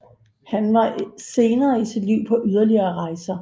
Han var senere i sit liv på yderligere rejser